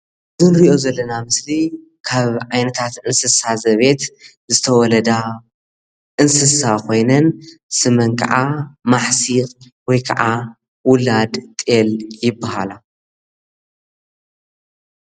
እት ንሪኦ ዘለና ምስሊ ካብ ዓይነታት እንስሳ ዘቤት ዝተወለዳ እንስሳ ኮይነን ስመን ከዓ ማሕሲእ ወይ ከዓ ውላድ ጤል ይበሃላ።